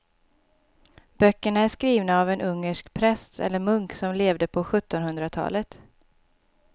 Böckerna är skrivna av en ungersk präst eller munk som levde på sjuttonhundratalet.